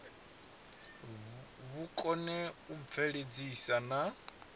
vhu kone u bveledzisa na